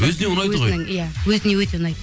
өзіне ұнайды ғой иә өзіне өте ұнайды